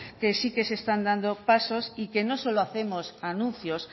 que sí que se están dando pasos y que no solo hacemos anuncios